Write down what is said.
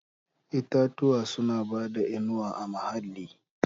Itatuwa suna bada inuwa a muhalli.